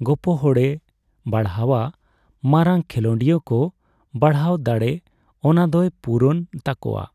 ᱜᱚᱯᱚᱦᱚᱲᱮ ᱵᱟᱲᱦᱟᱣᱟ, ᱢᱟᱨᱟᱝ ᱠᱷᱮᱞᱳᱰᱤᱭᱟᱹ ᱠᱚ ᱵᱟᱲᱦᱟᱣ ᱫᱟᱲᱮ ᱚᱱᱟᱫᱳᱭ ᱯᱩᱨᱚᱱ ᱛᱟᱠᱚᱣᱟ ᱾